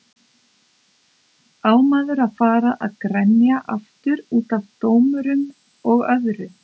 Á maður að fara að grenja aftur útaf dómurum og öðru?